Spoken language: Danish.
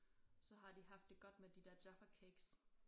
Så har de haft det godt med de der Jaffa cakes